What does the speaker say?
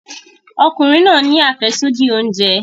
Ọkùnrin náà ni afesodi oúnjẹ.